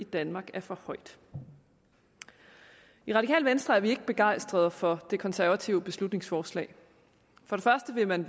i danmark er for højt i radikale venstre er vi ikke begejstrede for det konservative beslutningsforslag for det første vil man